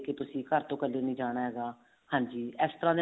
ਕੇ ਤੁਸੀਂ ਘਰ ਤੋਂ ਕੱਲੇ ਨੀ ਜਾਣਾ ਹੈਗਾ ਹਾਂਜੀ ਇਸ ਤਰ੍ਹਾਂ